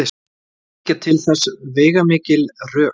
Liggja til þess veigamikil rök.